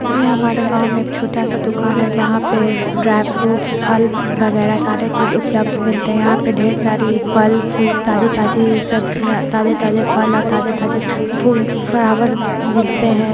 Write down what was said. ये हमारे गाव मे एक छोटा सा दुकान है जहाँ पे ड्राई फ्रूट फल वगेरा सारी चीजों उपलब्ध मिलते है| यहाँ पे ढेर सारी फल फ्रूट ताजी-ताजी सब्जियाँ ताजे-ताजे फल और ताजे-ताजे फूल फलाबर मिलते है।